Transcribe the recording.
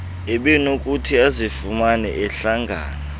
ebenokuthi azifumane ehlangana